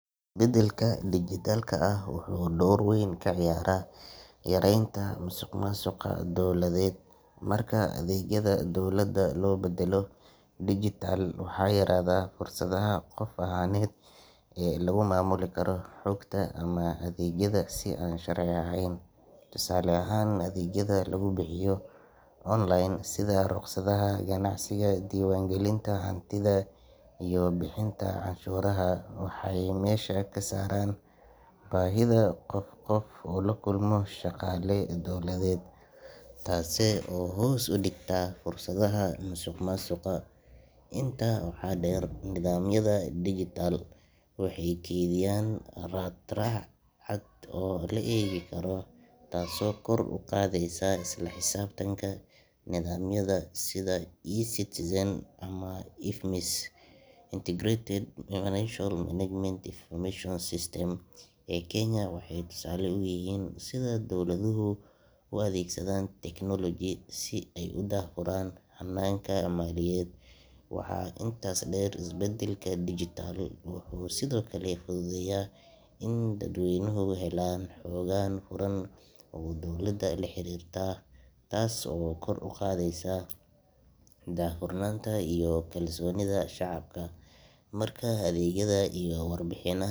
Isbeddelka dijitaalka ah wuxuu door weyn ka ciyaarayaa yareynta musuqmaasuqa dowladeed. Marka adeegyada dowladda loo beddelo digital, waxaa yaraada fursadaha qof ahaaneed ee lagu maamuli karo xogta ama adeegyada si aan sharci ahayn. Tusaale ahaan, adeegyada lagu bixiyo online sida rukhsadaha ganacsiga, diiwaangelinta hantida, iyo bixinta canshuuraha waxay meesha ka saaraan baahida qof qof ula kulmo shaqaale dowladeed, taas oo hoos u dhigta fursada musuqmaasuqa. Intaa waxaa dheer, nidaamyada digital waxay kaydiyaan raad raac cad oo la eegi karo, taasoo kor u qaadaysa isla xisaabtanka. Nidaamyada sida eCitizen ama IFMIS Integrated Financial Management Information System ee Kenya waxay tusaale u yihiin sida dowladuhu u adeegsadeen technology si ay u daahfuraan hannaanka maaliyadeed. Waxaa intaas dheer, isbeddelka digital wuxuu sidoo kale fududeeyaa in dadweynuhu helaan xog furan oo dawladda la xiriirta taas oo kor u qaadaysa daahfurnaanta iyo kalsoonida shacabka. Marka adeegyada iyo warbixina.